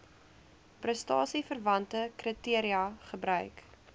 prestasieverwante kriteria gebruik